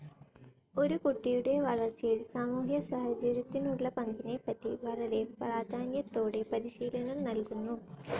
ഒരു കുട്ടിയുടെ വളർച്ചയിൽ സാമൂഹ്യ സാഹചര്യത്തിനുള്ള പങ്കിനെപ്പറ്റി വളരെ പ്രാധാന്യത്തോടെ പരിശീലനം നൽകുന്നു.